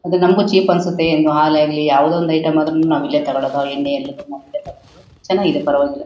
ಅದು ನಮಗೂ ಚೀಪ್ ಅನ್ಸುತ್ತೆ. ಹಾಲು ಆಗಲಿ ಯಾವುದೇ ಒಂದು ಐಟಂ ಆದ್ರೂನು ನಾವ್ ಇಲ್ಲೇ ತಗೊಳ್ಳೋದು ಚೆನ್ನಾಗಿದೆ ಪರವಾಗಿಲ್ಲ.